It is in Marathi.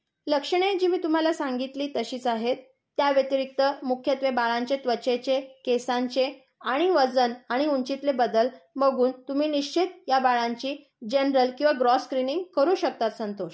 लक्षणे जी मी तुम्हाला सांगितली तशीच आहेत. त्याव्यतिरिक्त मुख्यत्वे बाळांचे त्वचेचे, केसांचे आणि वजन आणि ऊंचीतले बदल बघून तुम्ही निश्चित या बाळांची जनरल किंवा ग्रोस स्क्रिनिंग करू शकता संतोष.